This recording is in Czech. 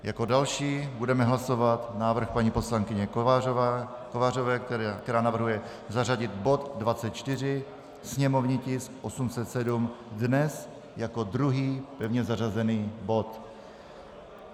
Jako další budeme hlasovat návrh paní poslankyně Kovářové, která navrhuje zařadit bod 24, sněmovní tisk 807, dnes jako druhý pevně zařazený bod.